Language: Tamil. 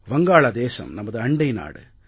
வங்காளதேசம் நமது அண்டை நாடு